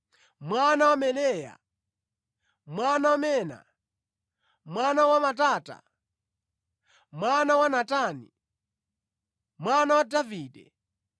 mwana wa Meleya, mwana wa Mena, mwana wa Matata, mwana wa Natani, mwana wa Davide,